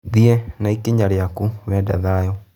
Thiĩ na ikĩnya rĩaku wenda thayũ.